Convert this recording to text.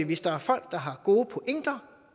hvis der er folk der har gode pointer